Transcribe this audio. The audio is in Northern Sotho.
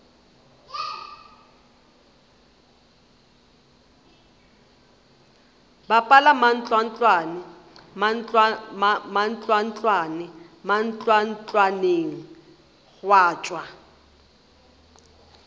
bapala mantlwantlwane mantlwantlwaneng gwa tšwa